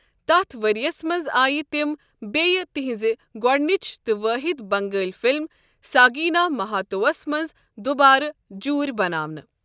تتھ ورۍ یس منٛز آے تِم بییہِ تہنٛزِ گۄڈٕنٕچ تہٕ وٲحِد بنگٲلی فلم ساگینا ماہاتو وس منٛز دوبارٕ جوٗرۍ بَناونہٕ۔